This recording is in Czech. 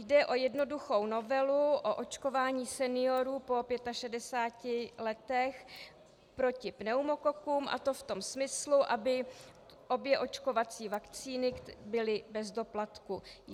Jde o jednoduchou novelu o očkování seniorů po 65 letech proti pneumokokům, a to v tom smyslu, aby obě očkovací vakcíny byly bez doplatku.